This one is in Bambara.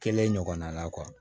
Kelen ɲɔgɔnna la